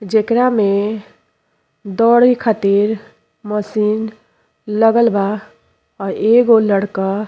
जेकरा में दौड़े खातिर मशीन लगल बा। अ एगो लड़का --